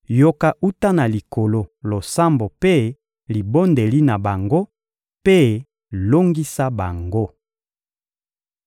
yoka wuta na Likolo losambo mpe libondeli na bango, mpe longisa bango.